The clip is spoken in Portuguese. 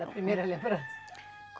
Da primeira lembrança?